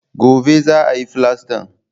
Gobe za a yi filastan